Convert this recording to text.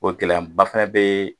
O gɛlɛyan ba fana bɛ